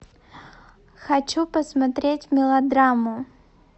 хочу посмотреть мелодраму